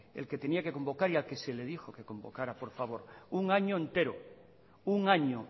el que tenía que convocar y al que se le dijo que convocara por favor un año entero un año